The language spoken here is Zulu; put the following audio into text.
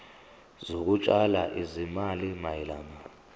zokutshala izimali mayelana